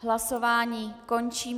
Hlasování končím.